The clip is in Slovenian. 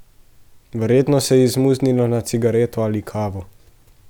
Verjetno se je izmuznila na cigareto ali kavo.